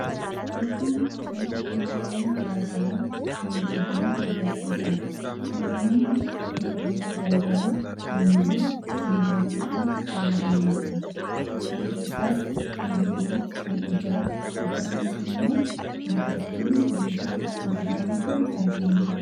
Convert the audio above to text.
Fakkiin kun mi'awwan miidhaginaa gara garaa kan agarsiisudha. Mi'awwan miidhaginaa gara garaa kunneenis dubartooni fayyadamu. Isaan keessaas: kan hidhii, kan ijaa, akkasumas immoo urgooftuu biifamu argama.